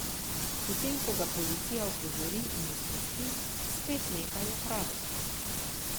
Potem ko ga policija opozori in izpusti, spet nekaj ukrade.